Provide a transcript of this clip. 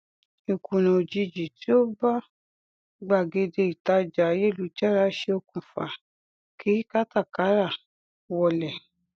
ìkùnà òjijì tí ó bá gbàgede ìtajà ayélujára ṣe okùnfa kí kátàkárà wọlẹ